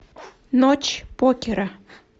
ночь покера